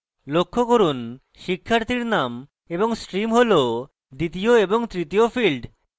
লক্ষ্য করুন শিক্ষার্থীর names এবং stream হল দ্বিতীয় এবং তৃতীয় fields